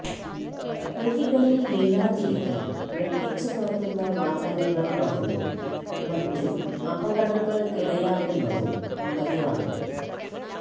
കുഴികളില് വീഴാതിരിക്കാന് വെട്ടിച്ച് മാറ്റുന്ന വാഹനങ്ങള് മറിഞ്ഞും മറ്റും അപകടങ്ങള്ക്കിടയാകുന്നതും പതിവാണ്